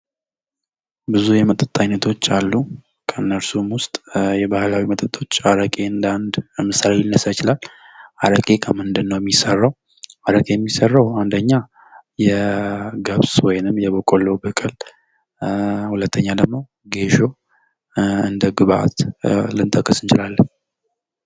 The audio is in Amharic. ብዙ የመጠጥ አይነቶች አሉ ከነርሱም ውስጥ የባህላዊ መጠጦች አረቄን እንደ አንድ ምሳሌ ሊነሳ ይችላል አረቄ ከምንድነው ? አረቄ የሚሰራው አንደኛ የገብስ ወይም የበቆሎ ሁለተኛ ደግሞ ጌሾ እንደ ግብዓት ልንጠቅስ እንችላለን።